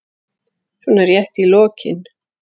svona rétt í lokin.